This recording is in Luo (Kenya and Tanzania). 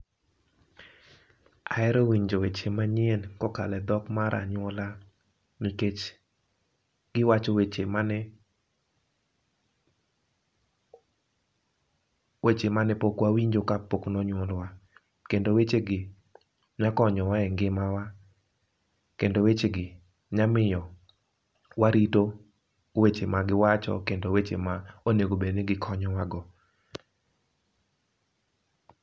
Ahero winjo weche manyien ko okalo e dhok mar anyuola nikech gi wacho weche ma ne weche mane pok wa winjo ka pok ne onyuolwa ,kendo weche gi nya konyo wa e ng'imawa kendo weche gi nya miyo wa rito weche ma gi wacho kendo weche ma onego bed ni gi konyowa go.